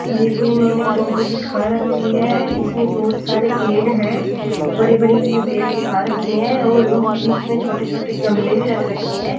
ये कोई इन्होंने फोटो दिखा रखी है इसमें बहुत सारे पेड़ हैं बड़े-बड़े इसमें पेड़ दिखा रखे हैं और उनके बीच में छोटे-छोटे गमले भी रख रखे हैं।